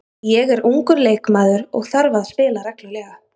Ég er ungur leikmaður og þarf að spila reglulega.